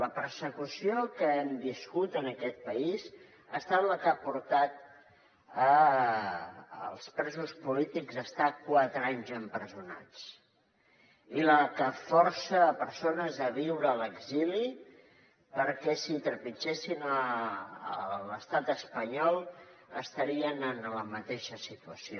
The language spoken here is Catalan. la persecució que hem viscut en aquest país ha estat la que ha portat els presos polítics a estar quatre anys empresonats i la que força persones a viure a l’exili perquè si trepitgessin l’estat espanyol estarien en la mateixa situació